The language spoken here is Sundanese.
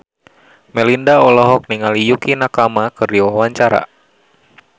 Melinda olohok ningali Yukie Nakama keur diwawancara